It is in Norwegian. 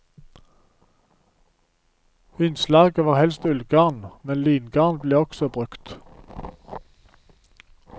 Innslaget var helst ullgarn, men lingarn ble også brukt.